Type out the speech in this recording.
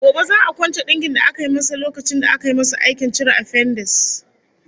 Gobe za'a kwance dinkin da aka yi masa lokacin da aka yi masa aikin cire afendis